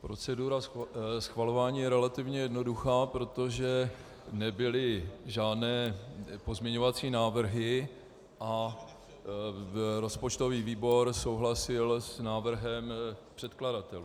Procedura schvalování je relativně jednoduchá, protože nebyly žádné pozměňovací návrhy a rozpočtový výbor souhlasil s návrhem předkladatelů.